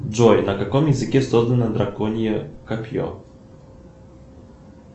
джой на каком языке создано драконье копье